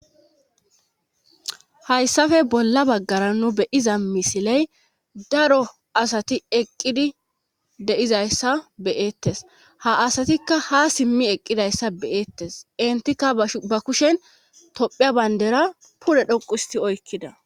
hayssafe bolla baggara nu beyiza misiley daro asati eqqidi deizayssa beyettes ha asatikka ha simmi eqqidayssa beyeettes intikka ba kushen tophia bayndera pule dhoqusi oykkida